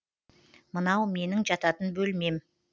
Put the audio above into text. мынау менің жататын бөлмем